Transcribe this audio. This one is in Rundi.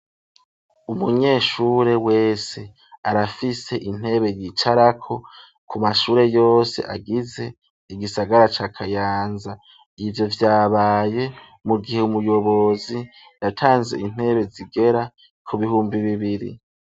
Umunyeshure wese arafise intebe yicarako, ku mashure yose agize igisagara cakayanza, ivyo vyabaye mu gihe ,umuyobozi yatanze intebe zigera ku bihumbi bibiri.